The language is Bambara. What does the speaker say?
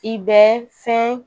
I bɛ fɛn